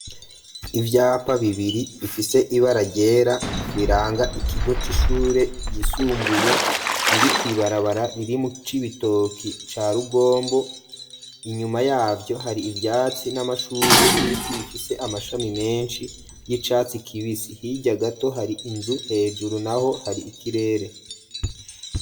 Ivyapa bibiri bifise ibara rygera biranga ikigo c'ishure yisumbuye biri kwibarabara ririmu c'ibitoki cya rugombo inyuma yabyo hari ibyatsi n'amashurwe n'ibiti bifise amashami menshi y'icatsi kibisi hirya gato hari inzu hejuru naho hari ikirere.